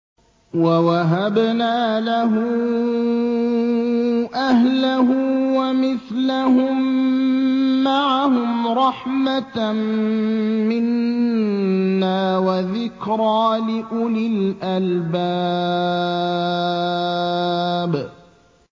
وَوَهَبْنَا لَهُ أَهْلَهُ وَمِثْلَهُم مَّعَهُمْ رَحْمَةً مِّنَّا وَذِكْرَىٰ لِأُولِي الْأَلْبَابِ